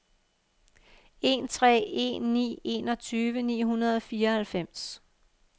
en tre en ni enogtyve ni hundrede og fireoghalvfems